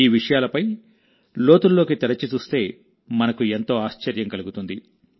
ఈ విషయాలపై లోతుల్లోకి తరచి చూస్తే మనకు ఎంతో ఆశ్చర్యం కలుగుతుంది